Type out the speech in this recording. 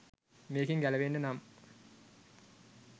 මේකෙන් ගැලවෙන්න නම්